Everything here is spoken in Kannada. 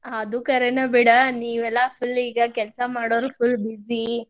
ಅದು ಖರೇನ ಬಿಡ, ನೀವೆಲ್ಲಾ full ಈಗ ಕೆಲಸ ಮಾಡೋರ್ full busy .